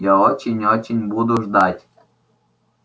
я очень очень буду ждать